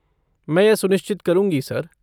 मैं यह सुनिश्चित करूंगी, सर।